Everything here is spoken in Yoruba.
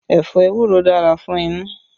Ẹ̀fọ́ ewuro dára fún inú